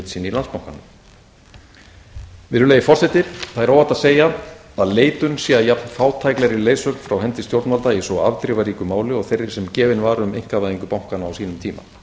í landsbankanum virðulegi forseti það er óhætt að segja að leitun sé að jafnfátæklegri leiðsögn frá hendi stjórnvalda í svo afdrifaríku máli og þeirri sem gefin var um einkavæðingu bankanna á sínum tíma